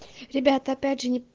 ребята опять же не